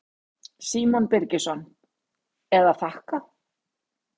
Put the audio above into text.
Símon Birgisson: Eða þakka?